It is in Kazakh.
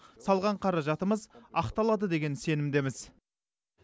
салған қаражатымыз ақталады деген сенімдеміз